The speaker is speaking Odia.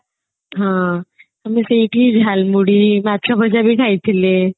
ହଁ କିନ୍ତୁ ସେଇଠି ଝାଲ୍ ମୁଢି ମାଛ ଭଜା ବି ଖାଇଥିଲେ